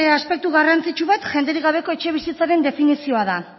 aspektu garrantzitsu bat jenderik gabeko etxebizitzaren definizioa da